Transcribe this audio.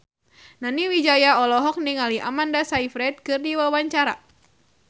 Nani Wijaya olohok ningali Amanda Sayfried keur diwawancara